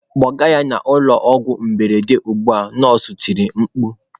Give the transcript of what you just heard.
"Kpọga ya n'ụlọ ọgwụ mberede ugbu a" nọọsụ tiri mkpu